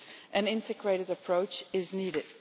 An integrated approach is needed.